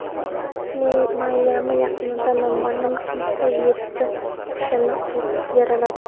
Mayami yaqinida noma’lum kimsa yetti kishini otib yaraladi.